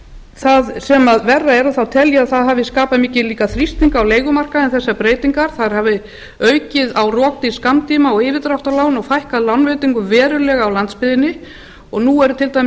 það sem verra er og þá tel ég að það hafi skapað mikinn þrýsting á leigumarkaðnum þessar breytingar þær hafi aukið á rokdýr skammtíma og yfirdráttarlán og fækkað lánveitingum verulega á landsbyggðinni nú eru til dæmis